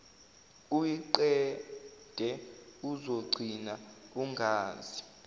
uyiqede uzogcina ungazi